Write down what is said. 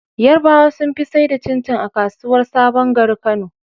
Yarabawa sun fi saida cin cin a kasuwar sabon gari kano